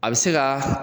A bɛ se ka